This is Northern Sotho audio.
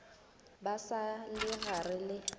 ba sa le gare le